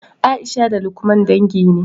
Aisha da lukman dangi ne